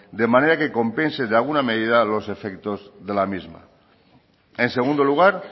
de manera que compense en alguna medida los efectos de la misma en segundo lugar